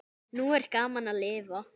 Nú er gaman að lifa!